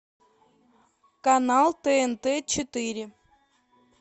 канал тнт четыре